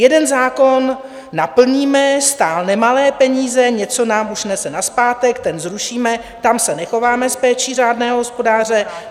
Jeden zákon naplníme, stál nemalé peníze, něco nám už nese nazpátek, ten zrušíme, tam se nechováme s péčí řádného hospodáře.